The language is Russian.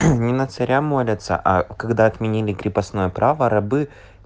не на царя молятся а когда отменили крепостное право рабы